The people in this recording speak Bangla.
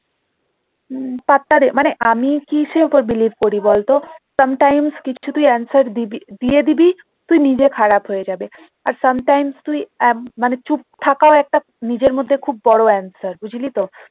হম পাত্তা দি না মানে আমি কিসের ওপর believe করি বলত sometimes কিছু কিছু answer দিয়ে দিবি তুই নিজে খারাপ হয়ে যাবি আর sometimes তুই আহ মানে চুপ থাকার একটা নিজের মধ্যে খুব বড় answer বুঝলি তো?